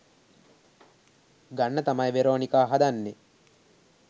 ගන්න තමයි වෙරෝනිකා හදන්නේ